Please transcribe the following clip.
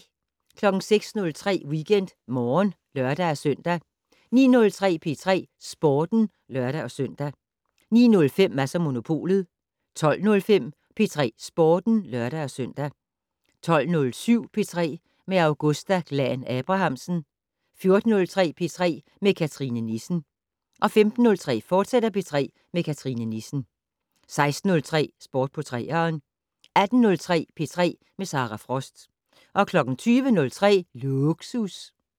06:03: WeekendMorgen (lør-søn) 09:03: P3 Sporten (lør-søn) 09:05: Mads & Monopolet 12:05: P3 Sporten (lør-søn) 12:07: P3 med Augusta Glahn-Abrahamsen 14:03: P3 med Cathrine Nissen 15:05: P3 med Cathrine Nissen, fortsat 16:03: Sport på 3'eren 18:03: P3 med Sara Frost 20:03: Lågsus